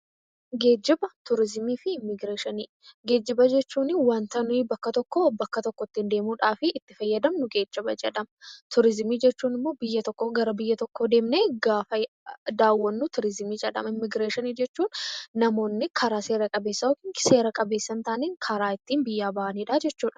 Geejiba turizimii fi immigireeshinii Geejiba jechuun waanta nuti bakka tokko irraa gara bakka biraatti deemuudhaafi itti fayyadamnu, geejiba jedhama. Turizimii jechuun immoo biyya tokkoo gara biyya tokkoo deemanii kan daawwannu turizimii jedhama. Immigireeshinii jechuun namoonni karaa seera qabeessaan seera hojii karaa ittiin biyyaa bahanidha.